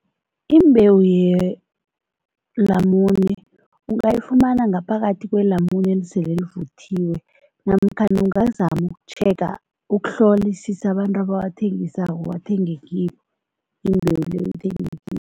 Imbewu yelamune ungayifumana ngaphakathi kwelamune esele livuthiwe namkhana ungazama ukutjhega, ukuhlolisisa abantu abawathengisako uwathenge kibo, imbewu leyo uyithenge kibo.